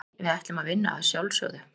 Nei, við ætlum að vinna að sjálfsögðu.